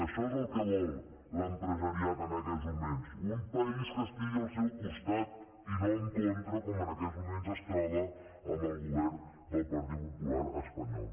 això és el que vol l’empresariat en aquests moments un país que estigui al seu costat i no en contra com en aquests moments es troba amb el govern del partit popular espanyol